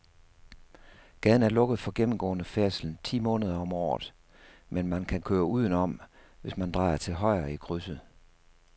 Gaden er lukket for gennemgående færdsel ti måneder om året, men man kan køre udenom, hvis man drejer til højre i krydset.